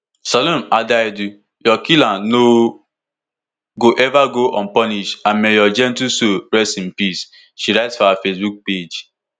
salome adaidu your killer no go eva go unpunished and may your gentle soul rest in peace she write for her facebook page